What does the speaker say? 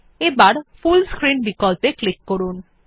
এবার full screen বিকল্পে click করুন